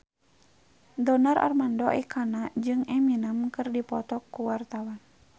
Donar Armando Ekana jeung Eminem keur dipoto ku wartawan